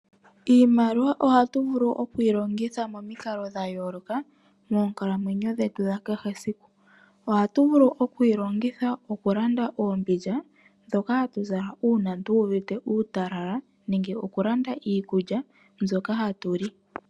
Iimaliwa ohatu vulu okuyi longitha momikalo dhayoloka moonkalamwenyo dhetu dhakehe esiku. Oha tu vulu okuyi longitha oku landa oombindja dhoka hatu zala una tu uvite uutalala nenge oku landa iikulya mbyoka hatu li.